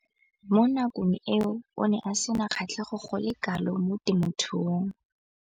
Mo nakong eo o ne a sena kgatlhego go le kalo mo temothuong.